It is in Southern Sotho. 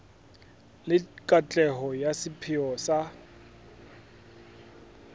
le katleho ya sepheo sa